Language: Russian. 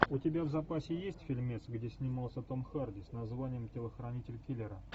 у тебя в запасе есть фильмец где снимался том харди с названием телохранитель киллера